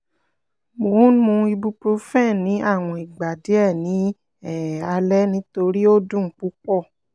mo n mu ibuprofen ni awọn igba diẹ ni um alẹ nitori o dun pupọ